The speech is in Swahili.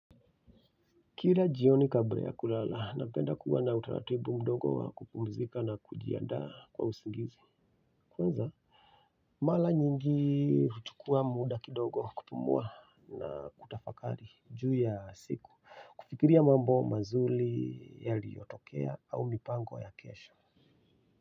Kila jioni kabla ya kulala napenda kuwa na utaratibu mdogo wa kupumzika na kujianda kwa usingizi kwanza mara nyingi huchukua muda kidogo kupumua na kutafakari juu ya siku kufikiria mambo mazuri yaliyotokea au mipango ya kesho.